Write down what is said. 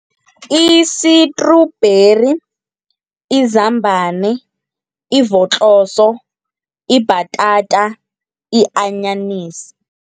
I-sitrubheri, izambana, ivotloso, ibhatata, i-anyanisi.